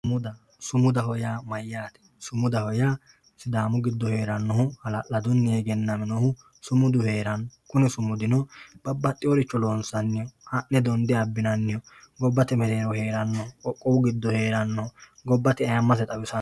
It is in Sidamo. Sumudaho yaa mayaate sumudaho yaa sidaamu giddo heerannohu hala'ladunni egennaminohu sumudu heeranno kuni suumdino babbaxxeyooricho loosannoho ha'ne donde abbinanniho gobbate meerero heerannoho qoqqowu giddo heerannoho gobbate ayeemmase xawisannoho.